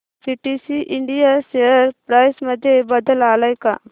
PTC India share price मध्ये बदल आलाय का